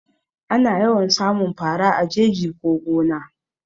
Anfi yawan samun fara a jeji ko gona